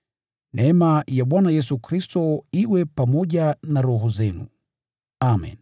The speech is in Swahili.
Neema ya Bwana Yesu Kristo iwe pamoja na roho zenu. Amen.